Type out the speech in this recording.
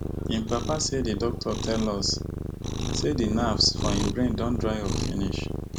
im papa say di doctor tell us say di nerves for im brain don dry up finish